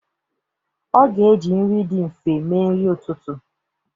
Ọ ga-eji nri dị nfe mee nri ụtụtụ.